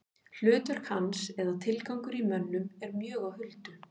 Hlutverk hans eða tilgangur í mönnum er mjög á huldu.